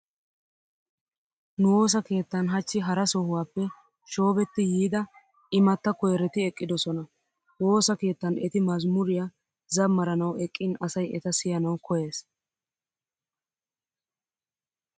Nu woosa keettan hachchi hara sohuwappe shoobetti yiida imatta koyreti eqqidosona. Woosa keettan eti mazmuriya zammaranawu eqqin asay eta siyanawu koyyees.